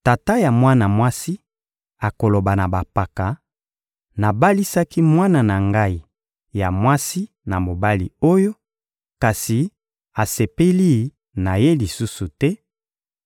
Tata ya mwana mwasi akoloba na bampaka: «Nabalisaki mwana na ngai ya mwasi na mobali oyo, kasi asepeli na ye lisusu te;